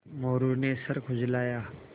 मोरू ने सर खुजलाया